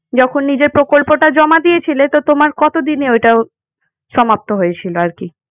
যখন নিজের প্রকল্পটা জমা দিয়েছিলে তো তোমার কতদিনে ওটা সমাপ্ত হয়েছিল আর কি?